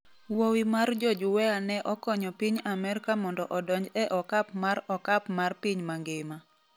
Wuowi mar George Weah ne okonyo piny Amerka mondo odonj e okap mar okap mar piny mangima